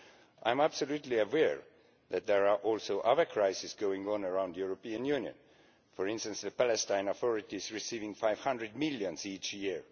I am fully aware that there are also other crises going on around the European Union, for instance the Palestinian authorities receiving EUR 500 million each year.